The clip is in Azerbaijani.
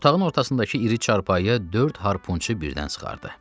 Otağın ortasındakı iri çarpayı dörd harpunçu birdən sıxardı.